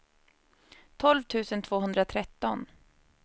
tolv tusen tvåhundratretton